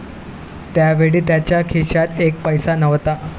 त्यावेळी त्यांच्या खिशात एक पैसा नव्हता.